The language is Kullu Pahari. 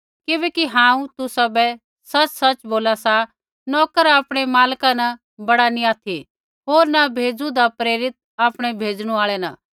किबैकि हांऊँ तुसाबै सच़सच़ बोला सा नोकर आपणै मालका न बड़ा नैंई ऑथि होर न भेज़ू होन्दा प्रेरित आपणै भेजणु आल़ै न